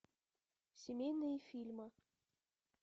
семейные фильмы